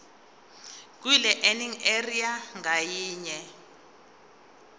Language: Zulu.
kwilearning area ngayinye